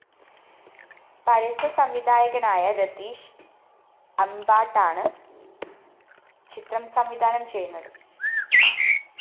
പരസ്യ സംവിധായകനായ രതീഷ് അമ്ബാട്ടാണ് ചിത്രം സംവിധാനം ചെയ്യുന്നത്